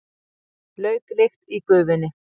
Lauklykt í gufunni.